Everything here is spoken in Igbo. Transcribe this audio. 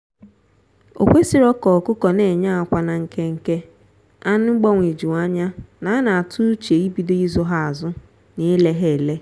okwesirọ ka ọkụkọ na-enye akwa na nke nke anụ gbanweju anya na a na-atụ uche ibido ịzụ ha azụ na ile ha ele.